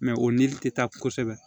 o nili tɛ taa kosɛbɛ